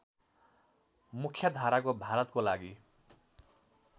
मुख्याधाराको भारतको लागि